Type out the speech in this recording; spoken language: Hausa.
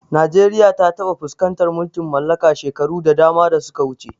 Najeriya ta taɓa fuskantar mulkin mallaka shekaru da dama da suka wuce.